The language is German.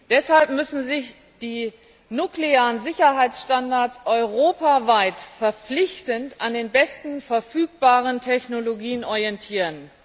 Deshalb müssen sich die nuklearen Sicherheitsstandards europaweit verpflichtend an den besten verfügbaren Technologien orientieren.